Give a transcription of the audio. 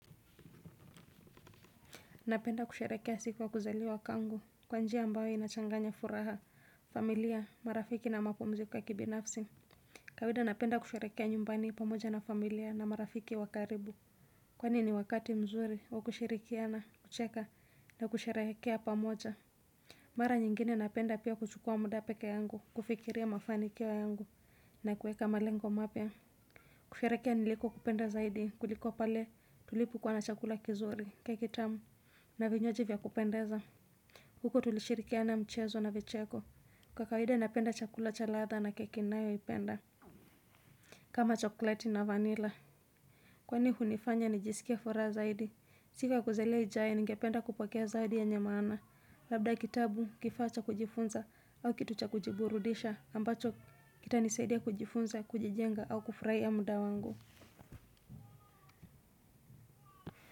Napenda kusharekea siku wa kuzali wakangu kwa njia abayo inachanganya furaha, familia, marafiki na mapumziko ya kibinafsi. Kawida napenda kusharekea nyumbani pamoja na familia na marafiki wa karibu. Kwani ni wakati mzuri wa kushirikiana, kucheka na kusharekea pamoja. Mara nyingine napenda pia kuchukua muda pekee yangu, kufikiria mafanikio yangu na kueka malengo mapya. Kusharekea niliko kupenda zaidi kuliko pale tulipu kwa nachakula kizuri kakitamu. Na vinywaji vya kupendeza huko tulishirikia na mchezo na vecheko. Kwa kaida napenda chakula cha ladha na keki nayoipenda kama chokoleti na vanila. Kwani hunifanya nijisikie furaha zaidi siku ya kuzaliwa ijayo ningependa kupokea zawadi yenye maana. Labda kitabu, kifachaa kujifunza au kitu cha kujiburudisha ambacho kita nisaidia kujifunza kujijenga au kufraia mda wangu.